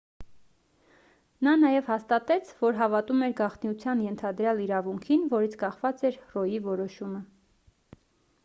նա նաև հաստատեց որ հավատում էր գաղտնիության ենթադրյալ իրավունքին որից կախված էր ռոյի որոշումը